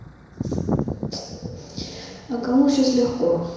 а кому сейчас легко